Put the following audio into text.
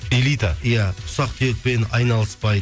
элита иә ұсақ түйекпен айналыспай